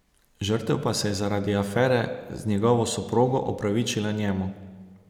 Žrtev pa se je zaradi afere z njegovo soprogo opravičila njemu.